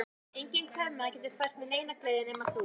Enginn kvenmaður getur fært mér neina gleði nema þú.